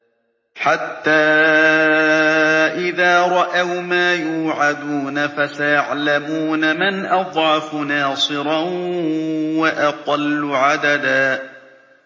حَتَّىٰ إِذَا رَأَوْا مَا يُوعَدُونَ فَسَيَعْلَمُونَ مَنْ أَضْعَفُ نَاصِرًا وَأَقَلُّ عَدَدًا